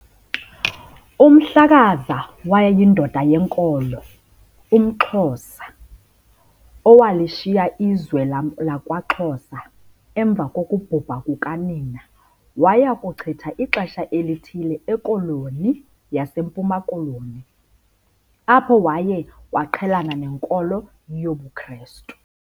UMhlakaza wayeyindoda yenkolo, umXhosa, owalishiya izwe lakwaXhosa emva kokubhubha kukanina waya kuchitha ixesha elithile eKoloni yaseMpuma Koloni, apho waye waqhelana nenkolo yobuKrestu.